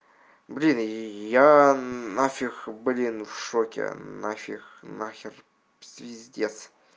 блин я нафиг блин в шоке нафиг нахер звездец